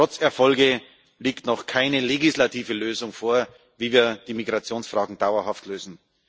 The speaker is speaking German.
Trotz Erfolgen liegt noch keine legislative Lösung vor, wie wir die Migrationsfrage dauerhaft lösen.